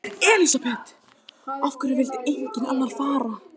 Elísabet: Af hverju vildi enginn annar fara?